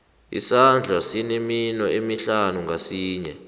isandla sinemino emihlanu ngasinye